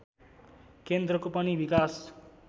केन्द्रको पनि विकास